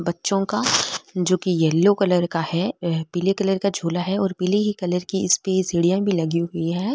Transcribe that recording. बच्चों का जो की येलो कलर का है यह पिले कलर का झूला हो और पिले ही कलर की इस्पे सीढिया भी लगी हुई है।